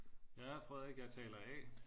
Jeg er Frederik jeg taler A